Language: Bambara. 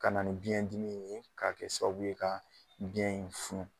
Ka na ni biyɛn dimi ye k'a kɛ sababu ye ka biyɛn in funun